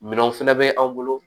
Minɛnw fɛnɛ bɛ an bolo